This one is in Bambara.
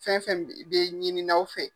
Fɛn fɛn be ɲininaw fɛ.